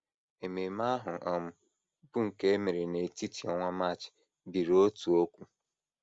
Ememe ahụ, um bụ́ nke e mere n’etiti ọnwa March, biri otu okwu.